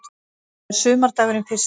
Það er sumardagurinn fyrsti.